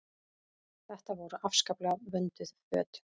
Þetta voru afskaplega vönduð föt.